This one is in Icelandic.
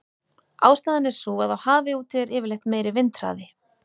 Ástæðan er sú að á hafi úti er yfirleitt meiri vindhraði.